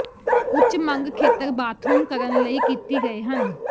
ਉੱਚ ਮੰਗ ਖੇਤਰ ਬਾਥਰੂਮ ਕਰਨ ਲਈ ਕੀਤੀ ਗਏ ਹਨ